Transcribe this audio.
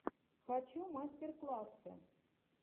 хочу мастер классы